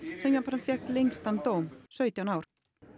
sem jafnframt fékk lengstan dóm sautján ár